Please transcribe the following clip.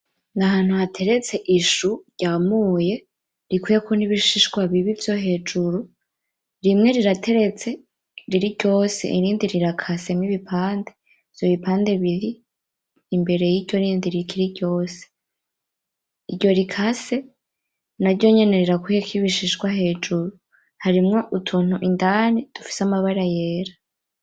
Nahantu hateretse ishu ryamuye rikuyeko nibishishwa bibi vyo hejuru rimwe rirateretse riri ryose irindi rirakasemwo ibipande ivyo bipande biri imbere yiryo rindi rikiri ryose iryo rikase naryonyene rirakuyeko ibishishwa hejuru harimwo utuntu indani dufise amabara yera